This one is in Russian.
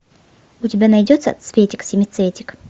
у тебя найдется цветик семицветик